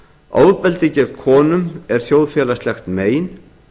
ofbeldi gegn konum er þjóðfélagslegt mein